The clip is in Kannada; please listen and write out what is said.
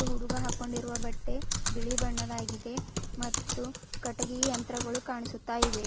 ಹುಡುಗ ಹಾಕೊಂಡಿರುವ ಬಟ್ಟೆ ಬಿಳಿ ಬಣ್ಣದಾಗಿದೆ ಮತ್ತು ಕಟ್ಟಿಗಿ ಯಂತ್ರಗಳು ಕಾಣಿಸುತ್ತಾ ಇವೆ.